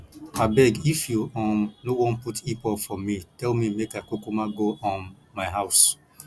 abeg if you um no wan put hip hop for me tell me make i kukuma go um my house